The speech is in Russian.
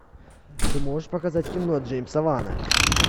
ты можешь показать кино джеймса вана